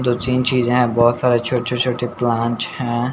दो तीन चीज है बहुत सारेछोटे छोटेप्लांट हैं ।